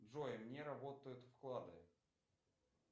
джой не работают вклады